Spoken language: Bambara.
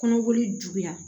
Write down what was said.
Kɔnɔboli juguya